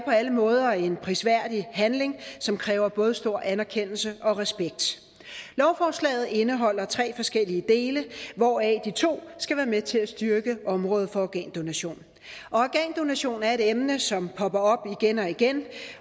alle måder en prisværdig handling som kræver både stor anerkendelse og respekt lovforslaget indeholder tre forskellige dele hvoraf de to skal være med til at styrke området for organdonation organdonation er et emne som popper op igen og igen